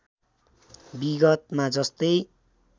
विगतमा जस्तै